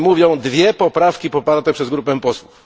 o czym mówią 2 poprawki poparte przez grupę posłów.